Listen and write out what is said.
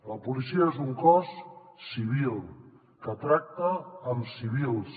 la policia és un cos civil que tracta amb civils